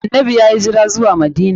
Annanbi yayi hijira zuwa Madina.